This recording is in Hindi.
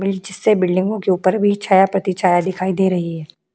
से बिल्डिंगो के ऊपर भी छाया-प्रतिछाया दिखाई दे रही है।